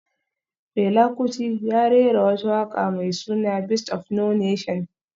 Fela Kuti ya rera wata waka mai suna Beast of no nation